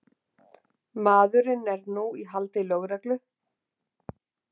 Maðurinn er nú í haldi lögreglu